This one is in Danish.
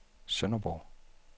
Sønderborg